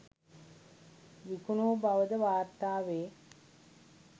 විකුණූ බවද වාර්තා වේ